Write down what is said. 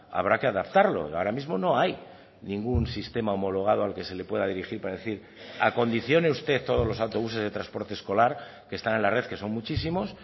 habrá que adaptarlo ahora mismo no hay ningún sistema homologado al que se le pueda dirigir para decir acondicione usted todos los autobuses de transporte escolar que están en la red que son muchísimos